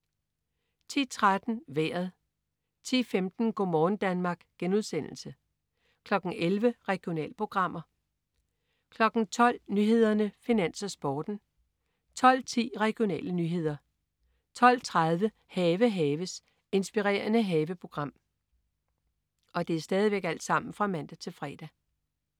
10.13 Vejret (man-fre) 10.15 Go' morgen Danmark* (man-fre) 11.00 Regionalprogrammer (man-fre) 12.00 Nyhederne, Finans, Sporten (man-fre) 12.10 Regionale nyheder (man-fre) 12.30 Have haves. Inspirerende haveprogram (man-fre)